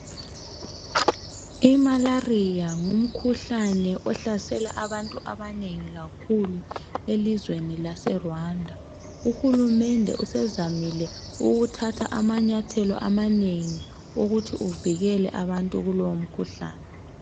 I"malaria " ngumkhuhlabe ohlasela abantu abanengi kakhulu elizweni lase "rwanda" uhulumende usezamile ukuthatha amanyathelo amanengi ukuthi avikele abantu kulowo mkhuhlane.